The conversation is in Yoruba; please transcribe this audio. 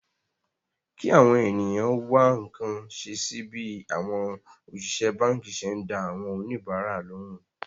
kí àwọn ènìyàn wá nǹkan ṣe sí bí àwọn òṣìṣẹ́ báǹkì ṣe ń dá àwọn oníbàárà lóhùn